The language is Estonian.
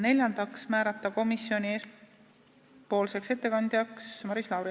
Neljandaks, määrata komisjoni ettekandjaks Maris Lauri.